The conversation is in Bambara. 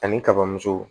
Ani kabamuso